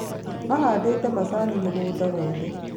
Mahandĩte macani mũgũnda wothe